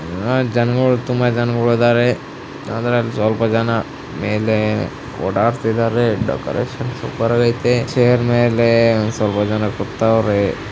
ಜನಗಳು ತುಂಬಾ ಜನಗಳು ಇದ್ದಾರೆ. ಆದರೆ ಸ್ವಲ್ಪ ಜನ ಮೇಲೆ ಓಡಾಡುತ್ತ ಇದಾರೆ‌ ಡೆಕೋರೇಶನ್‌ ಸೂಪರ್‌ ಆಗಿದೆ ಚೇರ್‌ ಮೇಲೆ ಒಂದು ಸ್ವಲ್ಪ ಜನ ಕೂತಿದ್ದಾರೆ.